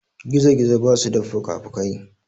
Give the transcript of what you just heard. Gizo-gizo basu da fukafukai.